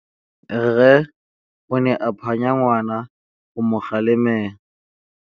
Rre o ne a phanya ngwana go mo galemela.